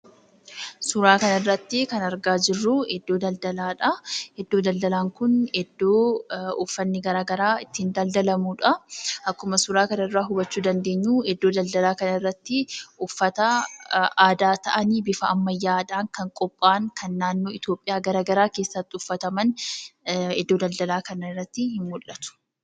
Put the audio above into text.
Suuraa kana irratti kan arginu iddoo daldalaadha. Iddoon daldalaa kun iddoo uffanni gara garaa itti daldalamudha. Akkuma suuraa kanarraa hubachuu dandeenyu iddoo daldalaa kana irratti uffata aadaa ta'anii bufa ammayyaadhaan kan qopha'an kan naannoo Itoophiyaa gara garaa keessatti uffataman iddoo daldalaa kana irratti ni mul'atu.